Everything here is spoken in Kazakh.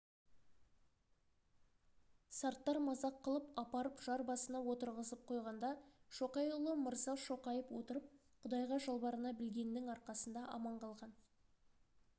сарттар мазақ қылып апарып жар басына отырғызып қойғанда шоқайұлы мырза шоқайып отырып құдайға жалбарына білгеннің арқасында аман қалған